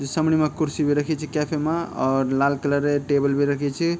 समणी मा कुर्सी बि रखी च कैफे मा और लाल कलरे टेबल बि रखी च।